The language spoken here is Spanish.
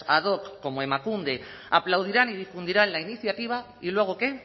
ad hoc como emakunde aplaudirán y difundirán la iniciativa y luego qué